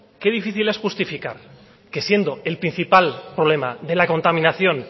qué difícil es justificar que siendo el principal problema de la contaminación